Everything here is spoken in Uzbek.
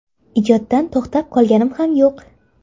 Ijoddan to‘xtab qolganim ham yo‘q.